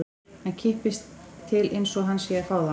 Hann kippist til einsog hann sé að fá það.